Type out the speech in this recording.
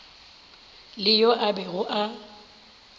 le yo a bego a